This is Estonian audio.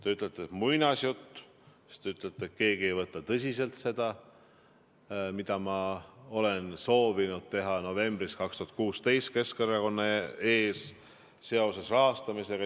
Te ütlete, et muinasjutt, siis te ütlete, et keegi ei võta tõsiselt seda, mida ma olen soovinud teha novembris 2016, Keskerakonna ees, seoses rahastamisega.